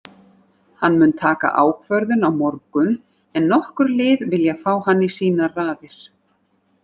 Hann mun taka ákvörðun á morgun en nokkur lið vilja fá hann í sínar raðir.